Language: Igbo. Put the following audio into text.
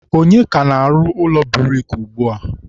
ọnye ka na-arụ ụlọ buriki ugbua?